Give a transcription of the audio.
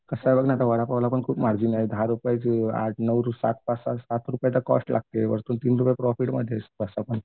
कसं आहे बघ ना आता वडापावला पण खूप मार्जिन आहे दहा रुपयची आठ नऊ सात पाच सात रुपये तर कोस्ट लागते वरचे तीन रुपये प्रॉफीटमध्ये आहेस तसापण